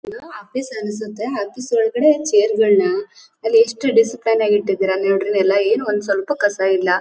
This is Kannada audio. ಇದು ಆಫೀಸ್ ಅನಿಸುತೆ ಆಫೀಸ್ ಒಳಗಡೆ ಚೇರ್ ಗಳನ್ನ ಅಲ್ಲಿ ಎಷ್ಟು ಡಿಸ್ಪ್ಲಿನ್ ಆಗಿ ಇಟ್ಟಿದೀರಾ ಅಲ್ಲಿ ನೋಡ್ರಿ ನೆಲ ಏನು ಒಂದ್ ಸ್ವಲ್ಪ ಕಸ ಇಲ್ಲ.